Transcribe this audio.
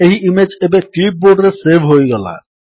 ଏହି ଇମେଜ୍ ଏବେ କ୍ଲିପ୍ ବୋର୍ଡରେ ସେଭ୍ ହୋଇଗଲା